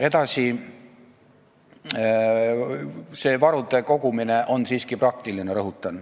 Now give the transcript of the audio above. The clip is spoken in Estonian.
Edasi rõhutan, et varude kogumine on siiski praktiline.